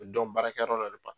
baarakɛ yɔrɔ dɔ de